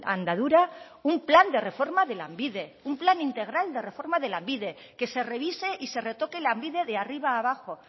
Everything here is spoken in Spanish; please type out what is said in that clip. andadura un plan de reforma de lanbide un plan integral de reforma de lanbide que se revise y se retoque lanbide de arriba a abajo